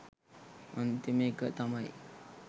අන්තිම එක තමයි